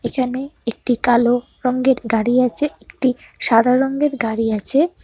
এখানে একটি কালো রঙ্গের গাড়ি আছে একটি সাদা রঙ্গের গাড়ি আছে।